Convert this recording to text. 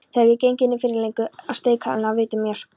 Þegar ég geng innfyrir leggur steikarilm að vitum mér.